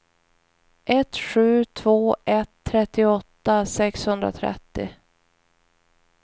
ett sju två ett trettioåtta sexhundratrettio